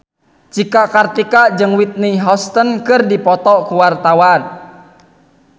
Cika Kartika jeung Whitney Houston keur dipoto ku wartawan